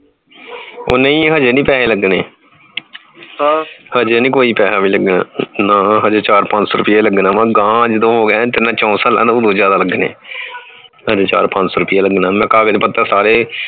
ਉਹ ਨਹੀਂ ਹਜੇ ਨਹੀਂ ਪੈਸੇ ਲਗਨੇ ਹਜੇ ਨਹੀਂ ਕੋਈ ਪੈਸੇ ਲਗਨਾ ਨਾ ਹਜੇ ਚਾਰ ਪੰਜ ਸੋ ਰੁਪਯਾ ਲਗਨਾ ਗਾਹ ਜਦੋ ਹੋ ਗਿਆ ਤਿੰਨ ਚਾਰ ਸਾਲਾਂ ਦਾ ਓਦੋ ਜ਼ਿਆਦਾ ਲਗਨੇ ਹਜੇ ਚਾਰ ਪੰਜ ਸੋ ਰੁਪਯਾ ਲਗਨਾ ਨੀ ਕਾਗਜ ਪੱਤਰ ਸਾਰੇ